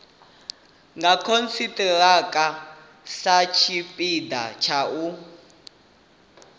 nga khonthiraka satshipida tsha u